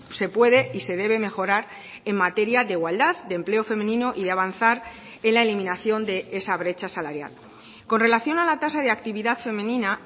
se puede y se debe mejorar en materia de igualdad de empleo femenino y de avanzar en la eliminación de esa brecha salarial con relación a la tasa de actividad femenina